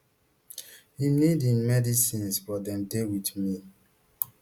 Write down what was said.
im need im medicines but dem dey wit me